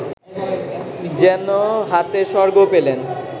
যেন হাতে স্বর্গ পেলেন